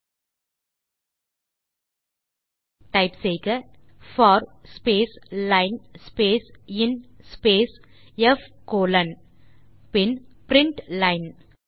ஆகவே டைப் செய்க in the command for space line space in space p colon பின் print line